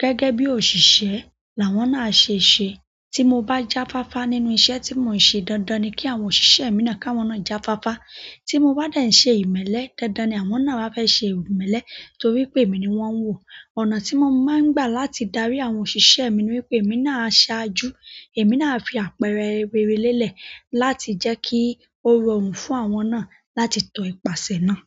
Gẹ́gẹ́ bí òṣìṣẹ́ làwọn náà ṣe ṣe. Tí mo bá jáfáfá nínú iṣẹ́ tí mò ń ṣe, dandan ni kí àwọn òṣìṣẹ́ mi náà ká wọn náà jáfáfá. Tí mo bá dà ì ṣe ìmẹ́lẹ́, dandan ni àwọn náà bá fẹ́ ṣe ìmẹ́lẹ́ torí pé èmi ni wọ́n ń wò. Ọ̀nà tí mo máa ń gbà láti darí àwọn òṣìṣẹ́ mi ni wípé èmi náà á ṣaájú, èmi náà á fi àpẹẹrẹ rere lélẹ̀ láti jẹ́ kí ó rọrùn fún àwọn náà láti tọ ipasẹ̀ náà.